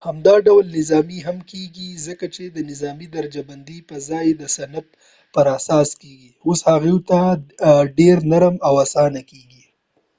همدا ډول نظامي هم کېږي ځکه چې د نظامي درجه بندۍ پر ځای چې د صنف پر اساس کېږي اوس هغوی ته ډیر نرم او آسانه کېږي